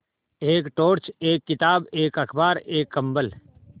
एक टॉर्च एक किताब एक अखबार एक कम्बल